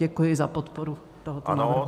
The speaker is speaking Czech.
Děkuji za podporu tohoto návrhu.